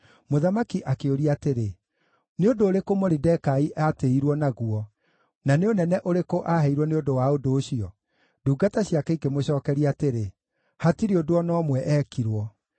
Mũthamaki akĩũria atĩrĩ, “Nĩ ũndũ ũrĩkũ Moridekai aatĩĩirwo naguo na nĩ ũnene ũrĩkũ aaheirwo nĩ ũndũ wa ũndũ ũcio?” Ndungata ciake ikĩmũcookeria atĩrĩ, “Hatirĩ ũndũ o na ũmwe eekirwo.”